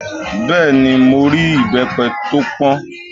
Bẹ́ẹ̀ni, mo rí ìbẹ́pẹ tó pọ́n